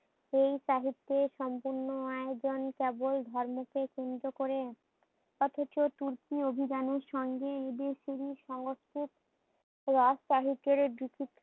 এই সাহিত্যের সম্পূর্ণ আয়োজন কেবল ধর্মকে কেন্দ্র করে। অথচ তুর্কি অভিযানের সঙ্গে এদের সংস্কৃত রাজ শাহী কের